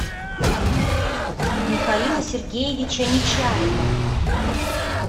михаила сергеевича нечаева